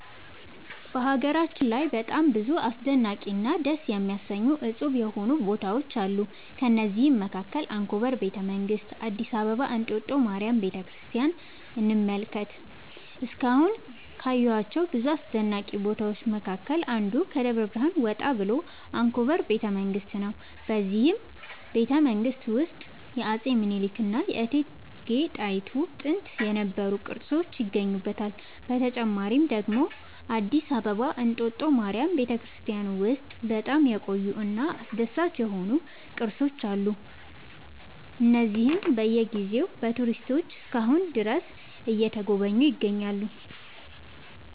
በሀገራችን ላይ በጣም ብዙ አስደናቂ እና ደስ የሚያሰኙ እፁብ የሆኑ ቦታዎች አሉ ከእነዚህም መካከል አንኮበር ቤተ መንግስት አዲስ አበባ እንጦጦ ማርያም ቤተክርስቲያንን እንመልከት እስካሁን ካየኋቸው ብዙ አስደናቂ ቦታዎች መካከል አንዱ ከደብረ ብርሃን ወጣ ብሎ አንኮበር ቤተ መንግስት ነው በዚህ ቤተመንግስት ውስጥ የአፄ ሚኒልክ እና የእቴጌ ጣይቱ ጥንት የነበሩ ቅርሶች ይገኙበታል። በተጨማሪ ደግሞ አዲስ አበባ እንጦጦ ማርያም ቤተክርስቲያን ውስጥ በጣም የቆዩ እና አስደሳች የሆኑ ቅርሶች አሉ እነዚህም በየ ጊዜው በቱሪስቶች እስከ አሁን ድረስ እየተጎበኙ ይገኛሉ